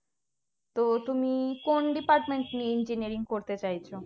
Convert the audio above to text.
তো তুমি কোন department নিয়ে engineering করতে চাইছো